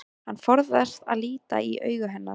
Hann forðast að líta í augu hennar.